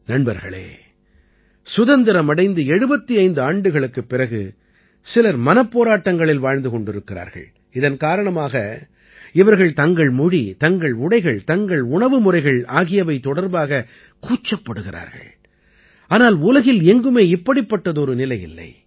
நண்பர்களே சுதந்திரம் அடைந்து 75 ஆண்டுகளுக்குப் பிறகு சிலர் மனப்போராட்டங்களில் வாழ்ந்து கொண்டிருக்கிறார்கள் இதன் காரணமாக இவர்கள் தங்கள் மொழி தங்கள் உடைகள் தங்கள் உணவு முறைகள் ஆகியவை தொடர்பாக கூச்சப்படுகிறார்கள் ஆனால் உலகில் எங்குமே இப்படிப்பட்டதொரு நிலை இல்லை